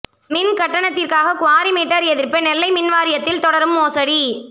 மின் கட்டணத்திற்காக quarry meter எரிப்பு நெல்லை மின்வாரியத்தில் தொடரும் மோசடி